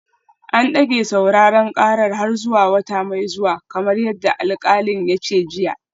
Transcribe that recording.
An dage sauraren karar har zuwa wata mai zuwa kamar yadda alkalin ya ce jiya